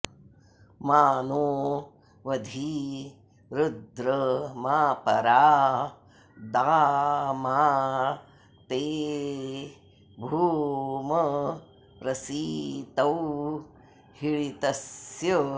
मा नो॑ वधी रुद्र॒ मा परा॑ दा॒ मा ते॑ भूम॒ प्रसि॑तौ हीळि॒तस्य॑